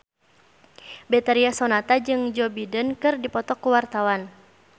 Betharia Sonata jeung Joe Biden keur dipoto ku wartawan